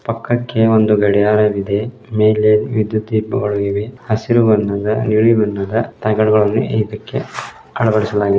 ಪಕ್ಕಕೆ ಒಂದು ಗಡಿಯಾರ ಇದೆ ಮೇಲೆ ವಿದುಯತ್ ದೀಪಗಳು ಇದೆ ಹಸಿರು ಬಣ್ಣದ ನೀಲಿ ಬಣ್ಣದ ತಗಡುಗಳನ್ನು ಇದ್ದಕೆ ಅಳವಡಿಸಲಾಗಿದೆ